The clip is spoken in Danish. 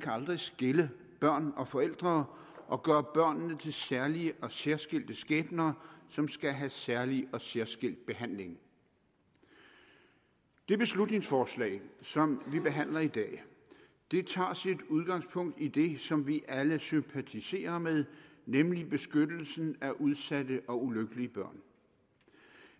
kan skille børn og forældre og gøre børnene til særlige og særskilte skæbner som skal have særlig og særskilt behandling det beslutningsforslag som vi behandler i dag tager sit udgangspunkt i det som vi alle sympatiserer med nemlig beskyttelsen af udsatte og ulykkelige børn